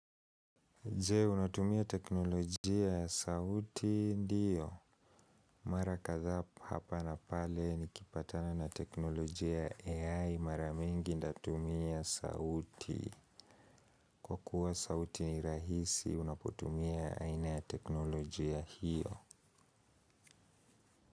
Jee, unatumia teknolojia ya sauti ndiyo. Mara kadhaa hapa na pale nikipatana na teknolojia ya AI mara mingi natumia sauti. Kwa kuwa sauti ni rahisi, unapotumia aina ya teknolojia hiyo.